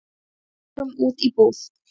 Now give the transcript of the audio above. Við fórum út í búð.